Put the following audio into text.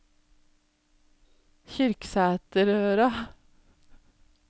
Kyrksæterøra